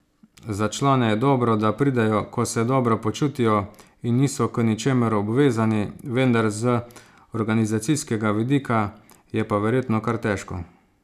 Za člane je dobro, da pridejo, ko se dobro počutijo in niso k ničemur obvezani, vendar z organizacijskega vidika je pa verjetno kar težko.